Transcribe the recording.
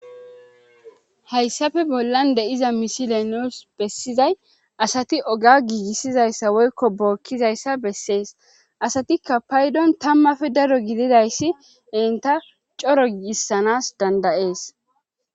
hayssafe bollan de7iza misilenos bessizay asati oga giigissizayssa woykko bookkizayssa bessees asatikka paydon tammafe daro gididayssi inta coro giigissanas dandayees